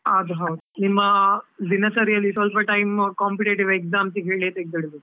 ಅದು ಹೌದು, ನಿಮ್ಮ ದಿನಚರಿಯಲ್ಲಿ ಸ್ವಲ್ಪಾ time competitive exam ಇಗೆ ಹೇಳಿಯೇ ತೆಗ್ದಿಡ್ಬೇಕು?